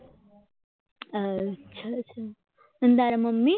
અચ્છા અચ્છા કેમ તારા મમ્મી